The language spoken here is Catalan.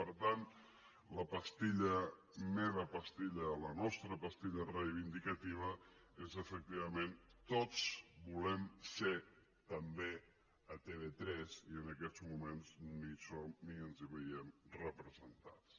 per tant la pastilla la meva pastilla la nostra pastilla reivindicativa és efectivament tots volem ser també a tv3 i en aquests moments ni hi som ni ens hi veiem representats